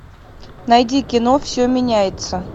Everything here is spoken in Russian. найди кино все меняется